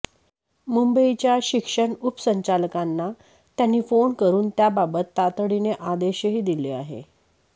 मुंबईच्या शिक्षण उपसंचालकांना त्यांनी फोन करुन त्याबाबत तातडीने आदेशही दिले आहे